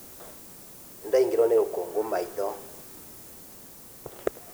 Nĩndaingĩrwo nĩ rũkũngũ maitho.